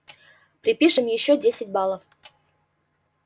припишем ещё десять баллов